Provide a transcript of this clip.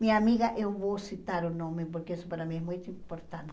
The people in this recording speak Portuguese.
Minha amiga, eu vou citar o nome, porque isso para mim é muito importante.